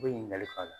U bɛ ɲininkali la